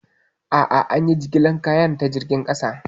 A'a, an yi jigilar kayan ta jirgin ƙasa.